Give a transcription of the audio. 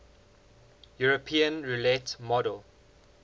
european roulette model